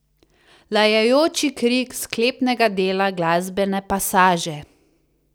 Lajajoči krik sklepnega dela glasbene pasaže.